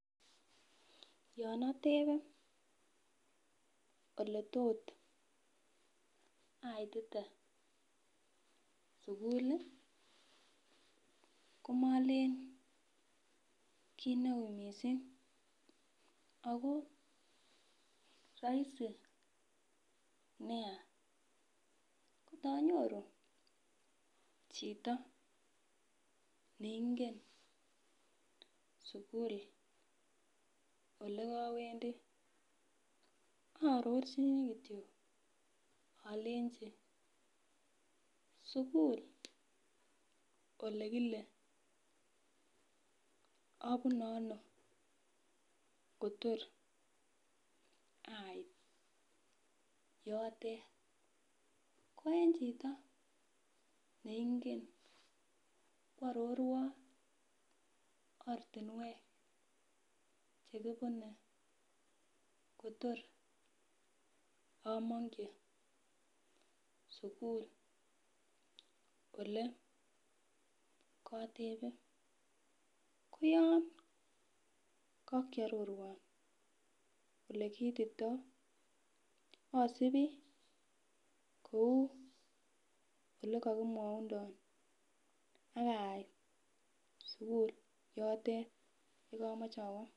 Yon atebe oletot aitite sugul ii komolen kit neui missing ako rahisi nia ngot anyoru chito neingen sugul ole kowendi aarorchin kityok alenji sugul olekilee abunee ano? kotokoro ait yotet, ko en chito neingen kwororwon ortinwek chekibune kotor amongyi sugul ole kotebe koyon kakyororwon olekiititoo asipi kou olekokimwaundon akait sugul yote ye komoche awoo.